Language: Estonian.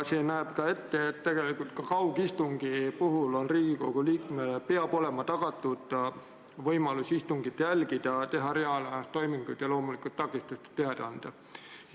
See näeb ette, et ka kaugistungi puhul peab Riigikogu liikmele peab olema tagatud võimalus istungit jälgida, teha reaalajas toiminguid ja loomulikult takistustest teada anda.